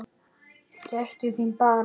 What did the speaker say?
Gættu þín bara!